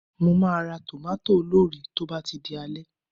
Mo máa ra tòmátò olórìí tó bá ti di alẹ́